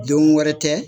Don wɛrɛ tɛ